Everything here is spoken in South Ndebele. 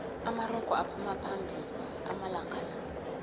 amarogo aphuma phambili amalanqala